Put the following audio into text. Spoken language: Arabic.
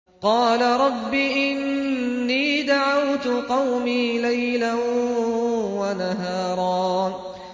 قَالَ رَبِّ إِنِّي دَعَوْتُ قَوْمِي لَيْلًا وَنَهَارًا